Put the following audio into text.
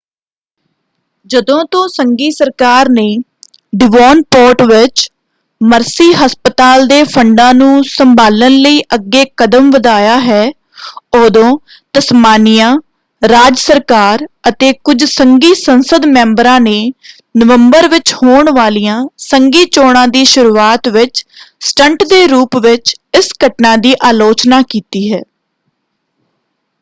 ਜਦੋਂ ਤੋਂ ਸੰਘੀ ਸਰਕਾਰ ਨੇ ਡੀਵੋਨਪੋਰਟ ਵਿੱਚ ਮਰਸੀ ਹਸਪਤਾਲ ਦੇ ਫੰਡਾਂ ਨੂੰ ਸੰਭਾਲਣ ਲਈ ਅੱਗੇ ਕਦਮ ਵਧਾਇਆ ਹੈ ਉਦੋਂ ਤਸਮਾਨੀਆ ਰਾਜ ਸਰਕਾਰ ਅਤੇ ਕੁੱਝ ਸੰਘੀ ਸੰਸਦ ਮੈਂਬਰਾਂ ਨੇ ਨਵੰਬਰ ਵਿੱਚ ਹੋਣ ਵਾਲੀਆਂ ਸੰਘੀ ਚੋਣਾਂ ਦੀ ਸ਼ੁਰੂਆਤ ਵਿੱਚ ਸਟੰਟ ਦੇ ਰੂਪ ਵਿੱਚ ਇਸ ਘਟਨਾ ਦੀ ਅਲੋਚਨਾ ਕੀਤੀ ਹੈ।